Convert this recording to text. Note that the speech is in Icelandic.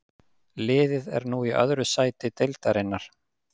Liðið er nú í öðru sæti deildarinnar.